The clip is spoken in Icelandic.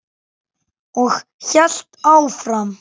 Og hélt áfram: